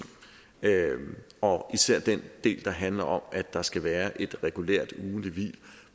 og især den del der handler om at der skal være et regulært ugentligt hvil